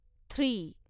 three